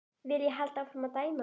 Vil ég halda áfram að dæma?